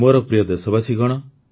ମୋର ପ୍ରିୟ ଦେଶବାସୀଗଣ